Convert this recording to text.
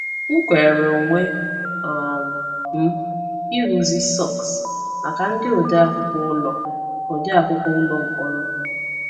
M kwere onwe um m ịrụzi sọks maka ndị odeakwụkwọ ụlọ odeakwụkwọ ụlọ mkpọrọ.